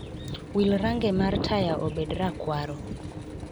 Wil range mar taya obed rakwaro